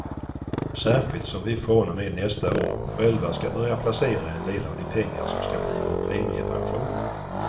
Särskilt som vi från och med nästa år själva ska börja placera en del av de pengar som ska bli vår premiepension.